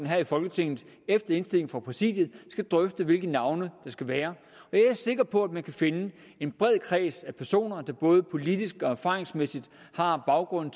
her i folketinget efter indstilling fra præsidiet skal drøfte hvilke navne det skal være jeg er sikker på at man kan finde en bred kreds af personer der både politisk og erfaringsmæssigt har baggrunden